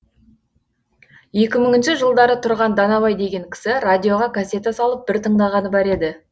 екі мыңыншы жылдары тұрған данабай деген кісі радиоға кассета салып бір тыңдағаны бар еді